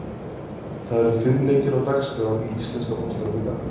Það eru fimm leikir á dagskrá í íslenska boltanum í dag.